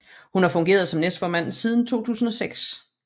Hun har fungeret som næstformand siden 2006